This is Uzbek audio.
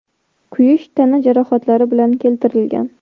kuyish tana jarohatlari bilan keltirilgan.